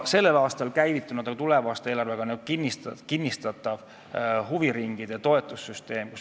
Sellel aastal on käivitunud ka huviringide toetussüsteem, mida tuleva aasta eelarve kinnistab.